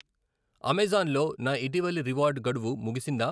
Amazon లో నా ఇటీవలి రివార్డ్ గడువు ముగిసిందా?